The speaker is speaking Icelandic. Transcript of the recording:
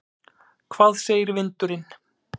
Hvað segir vindurinn?